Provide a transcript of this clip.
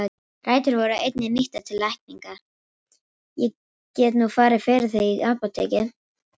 Rætur voru einnig nýttar til lækninga.